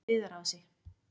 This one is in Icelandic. Viðarási